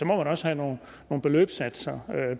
man også have nogle beløbssatser